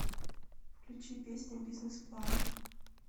включи песня бизнес план